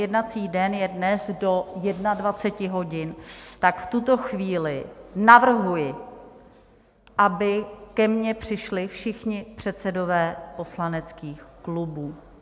jednací den je dnes do 21 hodin, tak v tuto chvíli navrhuji, aby ke mně přišli všichni předsedové poslaneckých klubů.